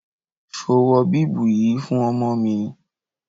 Ṣo wọ bíbù yìí fún ọmọ mi?